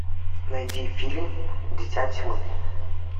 найди фильм дитя тьмы